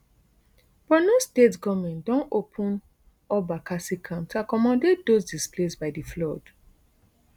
borno state goment don open up bakassi camp to accommodate dos displaced by di flood